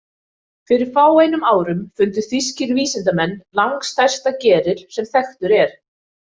Fyrir fáeinum árum fundu þýskir vísindamenn langstærsta geril sem þekktur er.